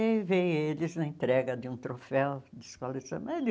Aí veio eles na entrega de um troféu de escola de samba.